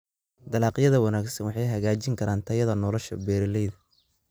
Dalagyada wanaagsan waxay hagaajin karaan tayada nolosha beeralayda.